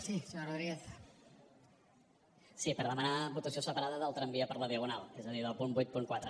sí per demanar votació separada del tramvia per la diagonal és a dir del punt vuitanta quatre